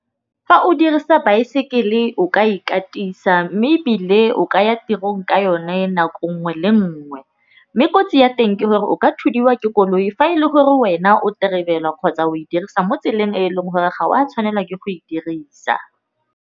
Fa o dirisa baesekele o ka ikatisa mme ebile o ka ya tirong ka yone nako nngwe le nngwe, mme kotsi ya teng ke gore o ka thudiwa ke koloi. Fa e le gore wena o kgotsa o e dirisa mo tseleng e leng gore ga wa tshwanelwa ke go e dirisa.